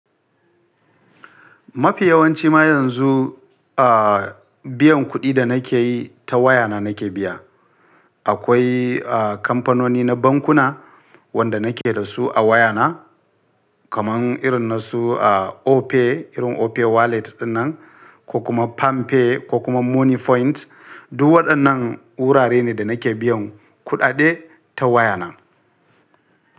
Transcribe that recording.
Mafi yawanci ma yanzu, a, biyan kuɗi da nake yi ta waya na nake biya. Akwai a, kamfanoni na bankuna wanda nake da su a waya na. Kaman irin na su a Opay, irin Opay wallet din nan, ko kuma PalmPay ko kuma Moniepoint. Duk waɗannan wurare ne da nake biyan kuɗaɗe ta waya na.